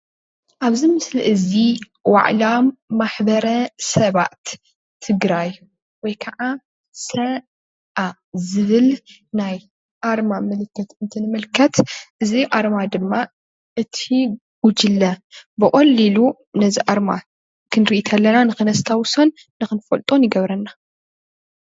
ኣብዚ ምስሊ እዚ ዋዕላ ማሕበረ ሰባት ትግራይ ወይ ክዓ ሰ.ኣ ዝብል ናይ ኣርማ ምልክት እንትንምልከት እዚ ኣርማ ክዓ እቲ ጉጅለ ብቐሊሉ ነዚ ኣርማ ክንርኢ ከለና ንኽነስታዉሶን ንኽንፈልጦን ይገብረና፡፡